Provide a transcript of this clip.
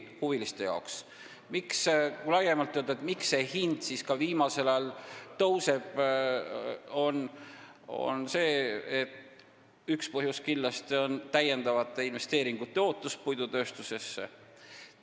Kui laiemalt rääkida, miks see hind viimasel ajal tõuseb, siis üks põhjus on kindlasti täiendavate investeeringute ootus puidutööstusesse.